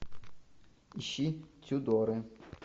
ищи тюдоры